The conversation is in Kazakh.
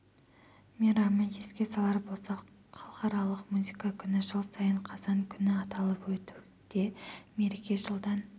мейрамы еске салар болсақ халықаралық музыка күні жыл сайын қазан күні аталып өтуде мереке жылдан